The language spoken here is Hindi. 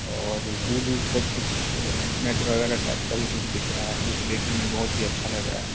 और दूर दूर तक कुछ नेट वगैरह टाइप का भी कुछ दिख रहा है जो कि देखने में भी बहोत ही अच्छा लग रहा है।